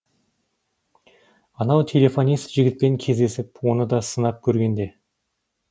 анау телефонист жігітпен кездесіп оны да сынап көргенде